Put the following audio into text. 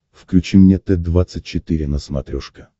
включи мне т двадцать четыре на смотрешке